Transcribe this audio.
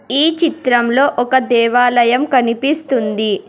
ఈ చిత్రంలో ఒక దేవాలయం కనిపిస్తుంది.